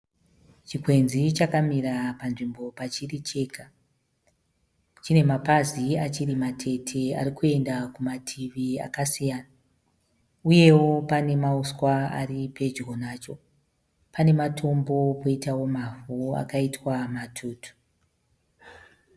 Chikwenzi chakamira panzvimbo pachiri chega. Chine mapazi achiri matete arikuenda kumativi akasiyana. Uyewo pane nausea aripedyo nacho. Pane matombo poitawo mavhu akaita matutu.